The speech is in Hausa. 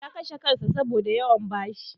Ya kashe kansa saboda yawan bashi.